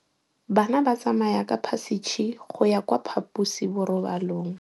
Bana ba tsamaya ka phašitshe go ya kwa phaposiborobalong.